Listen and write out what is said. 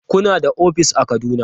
Kuna da ofis a Kaduna?